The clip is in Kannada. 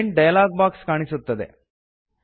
ಪ್ರಿಂಟ್ ಡಯಲಾಗ್ ಬಾಕ್ಸ್ ಕಾಣಿಸುತ್ತದೆ